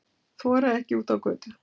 Þora ekki út á götu